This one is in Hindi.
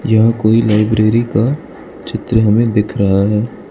यहां कोई लाइब्रेरी का चित्र हमें दिख रहा है।